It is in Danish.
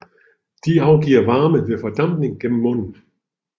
De afgiver varme ved fordampning gennem munden